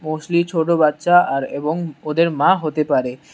Mostly ছোট বাচ্চা আর এবং ওদের মা হতে পারে।